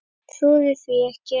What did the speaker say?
Trúði því ekki.